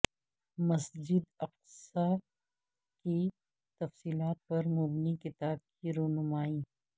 مسجد اقصی کی تفصیلات پر مبنی کتاب کی رونمائی